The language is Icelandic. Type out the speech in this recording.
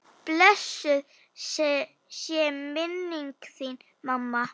Blessuð sé minning þín mamma.